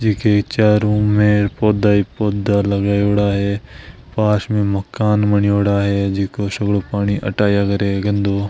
जी के चारों मेंर पौधे ही पौधा लगायडा है पास में मकान बनेड़ा है जीका सगलों पानी अठ आया कर गंदों।